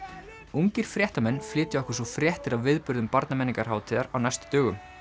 ungir fréttamenn flytja okkur svo fréttir af viðburðum Barnamenningarhátíðar á næstu dögum